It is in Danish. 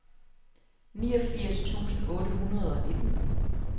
niogfirs tusind otte hundrede og nitten